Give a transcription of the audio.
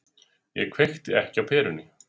Ég kveikti ekki á perunni.